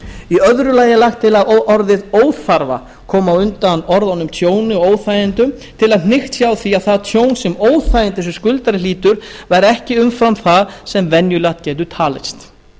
í öðru lagi er lagt til að orðið óþarfa komi á undan orðunum tjóni og óþægindum til að hnykkt sé á því að það tjón sem eða óþægindi sem skuldari hlýtur verði ekki umfram það sem venjulegt getur talist